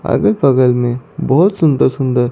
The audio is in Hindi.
अगल बगल में बहोत सुंदर सुंदर--